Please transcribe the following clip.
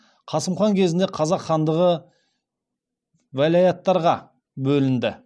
қасым хан кезінде қазақ хандығы велаяттарға бөлінді